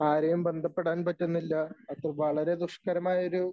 ആരെയും ബന്ധപ്പെടാൻ പറ്റുന്നില്ല അപ്പൊ വളരെ ദുഷ്കരമായ ഒരു